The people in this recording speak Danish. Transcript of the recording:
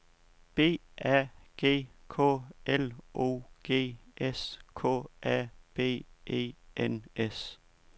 B A G K L O G S K A B E N S